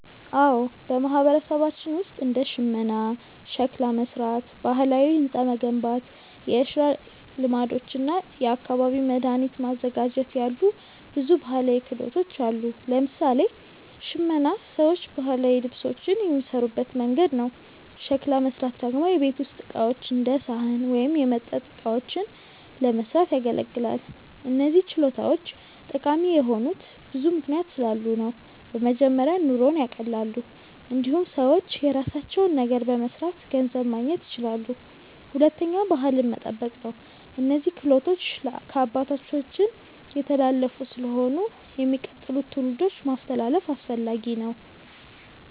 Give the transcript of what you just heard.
አዎ፣ በማህበረሰባችን ውስጥ እንደ ሽመና፣ ሸክላ መሥራት፣ ባህላዊ ሕንፃ መገንባት፣ የእርሻ ልማዶች እና የአካባቢ መድኃኒት ማዘጋጀት ያሉ ብዙ ባህላዊ ክህሎቶች አሉ። ለምሳሌ ሽመና ሰዎች ባህላዊ ልብሶችን የሚሠሩበት መንገድ ነው። ሸክላ መሥራት ደግሞ የቤት ውስጥ ዕቃዎች እንደ ሳህን ወይም የመጠጥ እቃዎችን ለመስራት ያገለግላል። እነዚህ ችሎታዎች ጠቃሚ የሆኑት ብዙ ምክንያቶች ስላሉ ነው። በመጀመሪያ ኑሮን ያቀላሉ። እንዲሁም ሰዎች የራሳቸውን ነገር በመስራት ገንዘብ ማግኘት ይችላሉ። ሁለተኛ ባህልን መጠበቅ ነው፤ እነዚህ ክህሎቶች ከአባቶቻችን የተላለፉ ስለሆኑ ለሚቀጥሉት ትውልዶች ማስተላለፍ አስፈላጊ ነው።